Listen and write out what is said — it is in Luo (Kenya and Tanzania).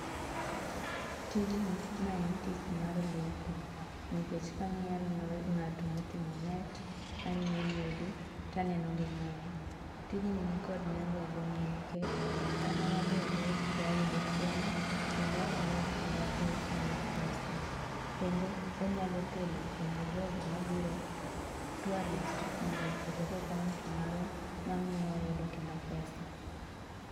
Tijni ma en tich mar lupo, nikech kang'iyo anenong'ato moting'o net, aneno yiedhi, taneno gi nam. Tijni nikod nengo e gweng'wa nikech sama waluwo rech to wayudo chiemo, kendo wanyalo use rewa gi mwayud pesa. Kendo onyalo kelo kendo jogo mabiro tourist mondo ochope kaonti marwa, mamiyo wayudo kendo pesa.